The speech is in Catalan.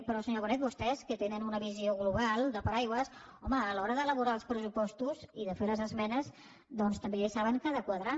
però senyora bonet vostès que tenen una visió global de paraigua home a l’hora d’elaborar els pressupostos i de fer les esmenes doncs també saben que ha de quadrar